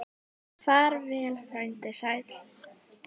Far vel, frændi sæll.